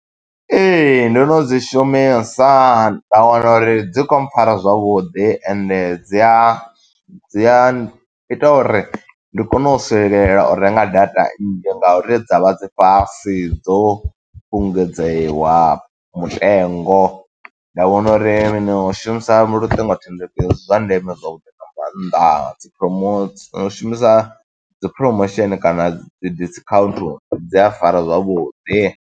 Ee, ndo no dzi shumisa, nda wana uri dzi khou pfara zwavhuḓi, ende dzi a dzi a ita uri ndi kone u swikelela u renga data nnzhi, nga uri dza vha dzi fhasi dzo fhungudzewa mutengo. Nda vhona uri ndi shumisa luṱingo thendeleki, ndi zwa ndeme zwavhuḓi nga maanḓa, dzi promots, ndi nyaga u shumisa dzi promotion kana dzi discount, dzi a fara zwavhuḓi.